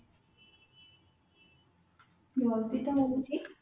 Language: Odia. ଜଲଦି ତ ମିଳୁଛି